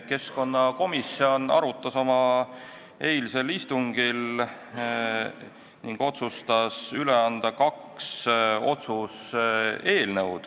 Keskkonnakomisjon pidas oma eilsel istungil maha arutelu ning otsustas üle anda kaks otsuse eelnõu.